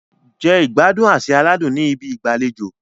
Jẹ ìgbádùn àsè aládùn ní ibi ìgbàlejò.